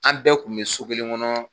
An bɛɛ kun bɛ so kelen kɔnɔɔɔ.